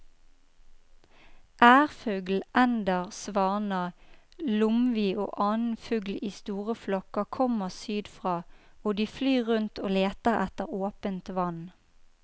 Ærfugl, ender, svaner, lomvi og annen fugl i store flokker kommer sydfra og de flyr rundt og leter etter åpent vann.